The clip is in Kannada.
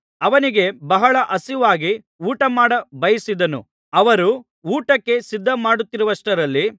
ಅವನಿಗೆ ಬಹಳ ಹಸಿವಾಗಿ ಊಟಮಾಡ ಬಯಸಿದನು ಅವರು ಊಟಕ್ಕೆ ಸಿದ್ಧಮಾಡುತ್ತಿರುವಷ್ಟರಲ್ಲಿ